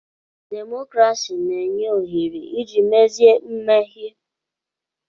Demokrasi na-enye ohere iji mezie mmehie.